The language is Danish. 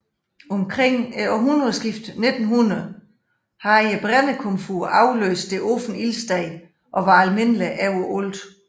Omkring århundredeskiftet 1900 havde brændekomfuret afløst det åbne ildsted og var almindeligt overalt